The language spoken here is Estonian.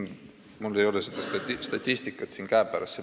Mul ei ole seda statistikat siin käepärast.